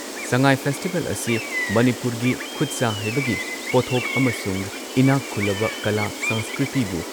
ꯁꯉꯥꯏ festival ꯑꯁꯤ ꯃꯅꯤꯄꯨꯔꯒꯤ ꯈꯨꯠꯁꯥ ꯍꯩꯕꯒꯤ ꯄꯣꯠꯊꯣꯛ ꯑꯃꯁꯨꯡ ꯏꯅꯥꯛ ꯈꯨꯜꯂꯕ ꯀꯂꯥ ꯁꯪꯁꯀ꯭ꯔꯤꯇꯤꯕꯨ